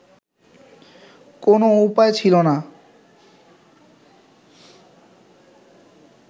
কোন উপায় ছিলো না